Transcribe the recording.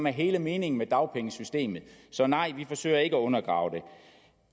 er hele meningen med dagpengesystemet så nej vi forsøger ikke at undergrave det